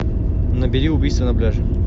набери убийство на пляже